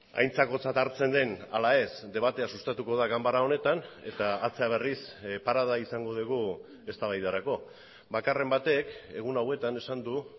aintzakotzat hartzen den ala ez debatea sustatuko da ganbara honetan eta atzera berriz parada izango dugu eztabaidarako bakarren batek egun hauetan esan du